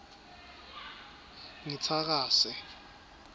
ngitsakase